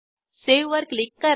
save वर click करा